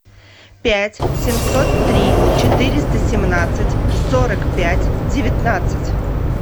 пять семьсот три четыреста семнадцать сорок пять девятнадцать